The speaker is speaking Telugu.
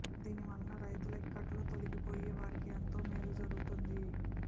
దీనివల్ల రైతుల ఇక్కట్లు తొలగిపోయి వారికి ఎంతో మేలు జరుగుతుంది